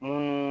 Mun